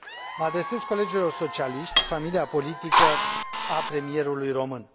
Mă adresez colegilor socialiști, familia politică a premierului român.